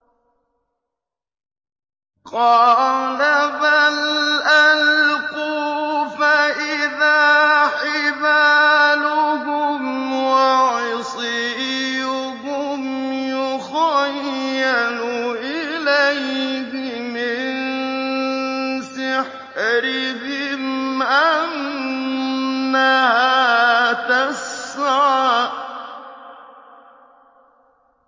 قَالَ بَلْ أَلْقُوا ۖ فَإِذَا حِبَالُهُمْ وَعِصِيُّهُمْ يُخَيَّلُ إِلَيْهِ مِن سِحْرِهِمْ أَنَّهَا تَسْعَىٰ